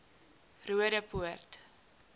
roodepoort